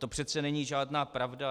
To přeci není žádná pravda.